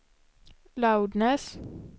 loudness